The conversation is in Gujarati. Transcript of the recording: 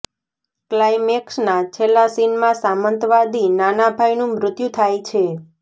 ક્લાઇમેક્સના છેલ્લા સીનમાં સામંતવાદી નાના ભાઈનું મૃત્યુ થાય છે